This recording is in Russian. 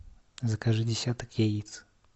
закажи десяток яиц